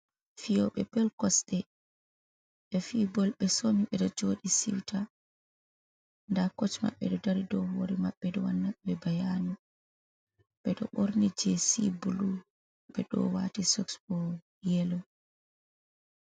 Fiyóbé bol kosde, bé fi bol bé somí bé dó jodí siwta. Dá koch maɓɓe dó dari dow hore maɓɓe do wanna bé dó bayanu. Bé dó borni jesí bulu bé dó wati sos bó yeló.